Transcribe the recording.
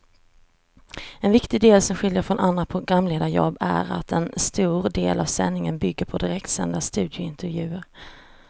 En viktig del som skiljer från andra programledarjobb är att en stor del av sändningen bygger på direktsända studiointervjuer.